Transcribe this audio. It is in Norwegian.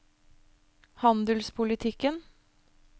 handelspolitikken